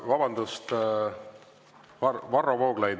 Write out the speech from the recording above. Vabandust, Varro Vooglaid!